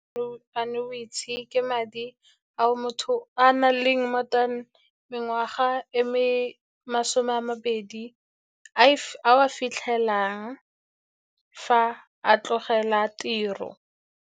Annuity ke madi ao motho a nang le more than mengwaga e masome a mabedi, a a fitlhelang fa a tlogela tiro.